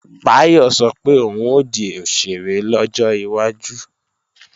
Báyọ̀ sọ pé òun ó di òṣèré lọ́jọ́ iwájú